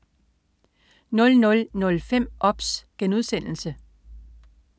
00.05 OBS*